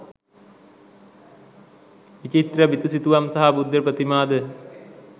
විචිත්‍ර බිතුසිතුවම් සහ බුද්ධ ප්‍රතිමාද